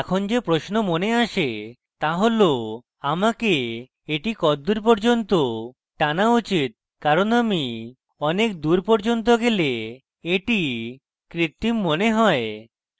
এখন যে প্রশ্ন মনে আসে তা হল আমাকে এটি কদ্দুর পর্যন্ত টানা উচিত কারণ আমি অনেক দূর পর্যন্ত গেলে এটি কৃত্তিম মনে হয়